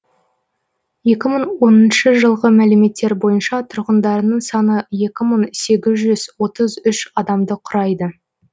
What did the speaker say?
екі мың оныншы жылғы мәліметтер бойынша тұрғындарының саны екі мың сегіз жүз отыз үш адамды құрайды